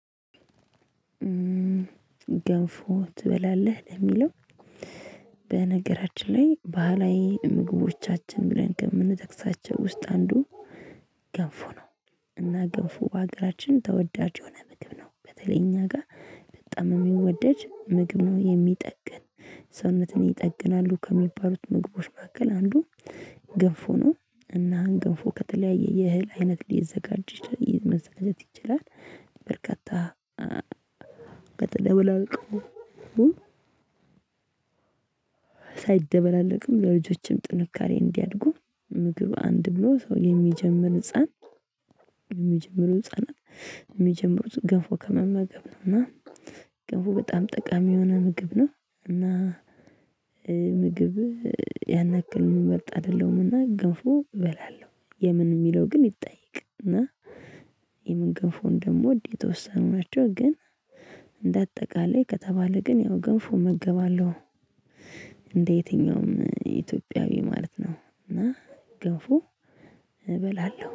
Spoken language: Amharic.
ገንፎ ትበላለህ ለሚለው? በነገራችን ላይ ባህላዊ ምግቦቻችን ብለን ከምንጠቅሳቸው ውስጥ አንዱ ገንፎ ነው። እና ገንፎ በሀገራችን ተወዳጅ የሆነ ምግብ ነው በተለይ እኛ ጋር በጣም የሚወደድ ምግብ ነው የሚጠግን ሰውነትን ይጠግናሉ ከሚባሉት ምግቦች መካከል አንዱ ግንፎ ነው። እና አሁን ገንፎ ከተለያየ የእህል አይነት ሊዘጋጅ መዘጋጀት ይችላል። በርካታ በተደበላለቀው ሳይደበላለቅም ለልጆችም ጥንካሬ እንዲያድጉ ምግብ አንድ ብሎ ሰው የሚጀምር ህፃን የሚጀምረው ህፃናት የሚጀምሩት ገንፎ ከመመገብ ነው። እና ገንፎ በጣም ጠቃሚ የሆነ ምግብ ነው። እና ምግብ ያን ያክል የምመርጥ አይደለሁም። እና ገንፎ እበላለሁ የምን የሚለው ግን ይጠይቅ እና የምን ገንፎ እንደምወድ የተወሰኑ ናቸው። ግን እንደ አጠቃላይ ከተባለ ግን ያው ገንፎ እመገባለሁ። እንደ የትኛውም ኢትዮጵያዊ ማለት ነው። እና ገንፎ እበላለሁ